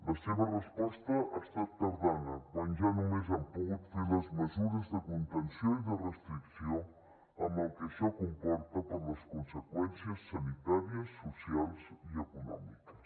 la seva resposta ha estat tardana quan ja només han pogut fer les mesures de contenció i de restricció amb el que això comporta per les conseqüències sanitàries socials i econòmiques